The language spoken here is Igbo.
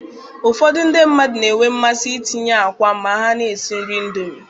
Ụfọdụ ndị mmadụ na-enwe mmasị itinye akwa ma ha na-esi nri Indomi